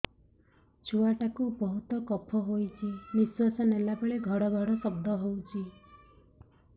ଛୁଆ ଟା କୁ ବହୁତ କଫ ହୋଇଛି ନିଶ୍ୱାସ ନେଲା ବେଳେ ଘଡ ଘଡ ଶବ୍ଦ ହଉଛି